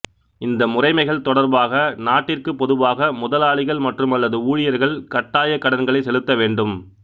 இந்த முறைமைகள் தொடர்பாக நாட்டிற்கு பொதுவாக முதலாளிகள் மற்றும் அல்லது ஊழியர்கள் கட்டாயக் கடன்களைச் செலுத்த வேண்டும்